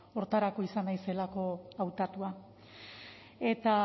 horretarako izan naizelako hautatua eta